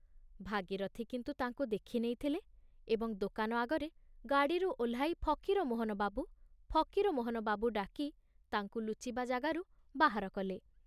ଭାଗୀରଥି କିନ୍ତୁ ତାଙ୍କୁ ଦେଖି ନେଇଥିଲେ ଏବଂ ଦୋକାନ ଆଗରେ ଗାଡ଼ିରୁ ଓହ୍ଲାଇ ଫକୀରମୋହନ ବାବୁ, ଫକୀରମୋହନ ବାବୁ ଡାକି ତାଙ୍କୁ ଲୁଚିବା ଯାଗାରୁ ବାହାରକଲେ।